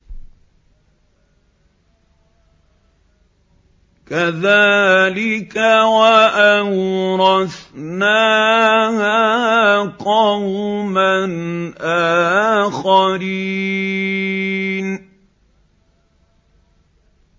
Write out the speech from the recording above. كَذَٰلِكَ ۖ وَأَوْرَثْنَاهَا قَوْمًا آخَرِينَ